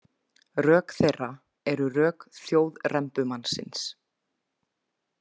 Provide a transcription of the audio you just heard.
Rök þeirra eru rök þjóðrembumannsins.